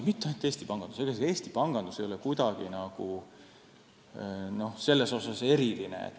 Ja mitte ainult Eesti panganduses, sest ega Eesti ei ole selles mõttes kuidagi eriline.